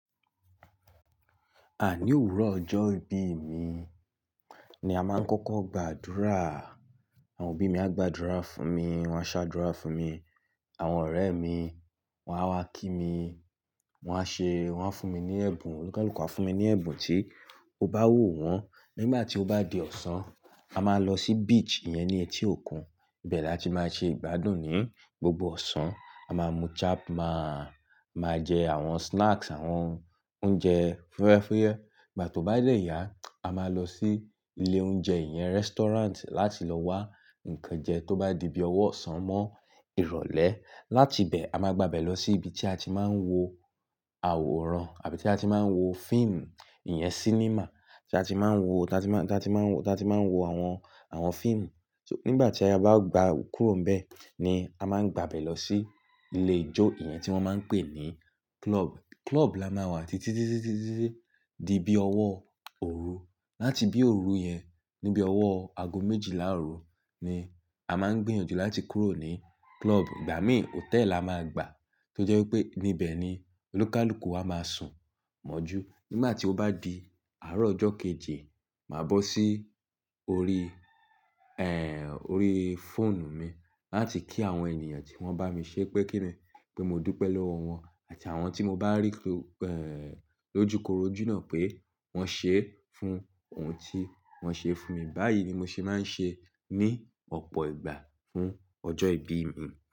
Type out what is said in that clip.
Àní òwúrọ̀ ọjọ́ ìbí mi ni a máa ń kọ́kọ́ gbàdúrà. Àwọn òbí mi á gbàdúrà fún mi, wọ́n á ṣàdúrà fún mi, àwọn ọ̀rẹ́ mi, wọ́n á wá kí mi, wọ́n á ṣe-- wọ́n á fún mi ní ẹ̀bùn, onikàluku á fún mi ní ẹ̀bùn tí ó bá wò wọ́n. Nígbà tí ó bá di ọ̀sán, a máa lọ sí beach iyẹn ní etí òkun. Bẹ́ẹ̀ la ti máa ṣe ìgbádùn ní gbogbo ọ̀sán. A máa mu chap, máa, máa jẹ àwọn snacks, àwọn oúnjẹ fúnyẹ́ fúnyẹ́. Nígbà tó bá lẹ̀ ya, a máa lọ sí ilé oúnjẹ yẹn, restaurant láti lọ wá ǹkan jẹ tó bá di bí ọwọ́ ọ̀sán mọ́ ìrọ̀lẹ́. Láti bẹ̀, a máa gbaẹ̀ lọ sí ibi tí a ti máa ń wo àwòrán àbí tí a ti máa ń wo fíìmù, ìyẹn cinema tí a ti máa ń wo, tí a ti máa ń, tí a ti máa ń wo, tí a ti máa ń wo àwọn, àwọn fíìmù. So nígbà tí a bá gba kúrò n bẹ̀ ni a máa ń gba bẹ̀ lọ sí ilé ijó iyẹn tí wọ́n máa ń pè ní club. Club la máa wà títítitititi dí bí ọwọ́ òru. Láti bí òru yẹn, níbi ọwọ́ ago méjìlá òru ni a máa ń gbìyànjú láti kúrò ní club. Gba mi hotel la máa gbà tó jẹ́ wípé níbẹ̀ ni olúkalùkù wa máa sùn mọ́jú. Nígbà tí ó bá di àárọ̀ ọjọ́ kejì, màá bọ́ sí orí, ẹ́ń, orí fóònù mi láti kí àwọn ènìyàn tí wọ́n bá mi ṣe pé kí mi pé mo dúpẹ́ lọ́wọ́ wọn àti àwọn tí mo bá rí lójúkorojú náà pé wọ́n ṣe fún ohun tí wọ́n ṣe fún mi. Báyìí ni mo ṣe máa ń ṣe ní ọ̀pọ̀ ìgbà fún ọjọ́ ìbí mi.